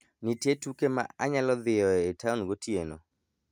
Nitie tuke ma anyalo dhiyoe e taon gotieno